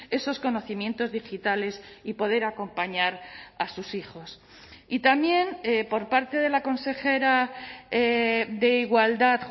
esos conocimientos digitales y poder acompañar a sus hijos y también por parte de la consejera de igualdad